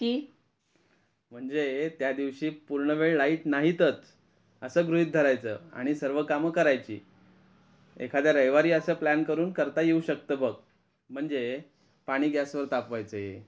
म्हणजे त्या दिवशी पूर्ण वेळ लाईट नाहीतच असे गृहीत धरायचं आणि सर्व काम करायची एखाद्या रविवारी अस प्लॅन करून करता येऊ शकतं बघ म्हणजे पाणी गॅस वर तापवायचे.